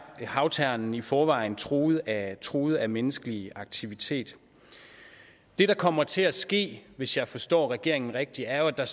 havternen i forvejen truet af truet af menneskelig aktivitet det der kommer til at ske hvis jeg forstår regeringen rigtigt er at der